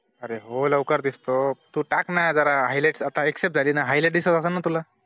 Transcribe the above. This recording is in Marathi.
अरे हो लवकर दिसतो, तू टाकाना जरा highlights अता accept झाली ना highlight दिसत असलं ना तुला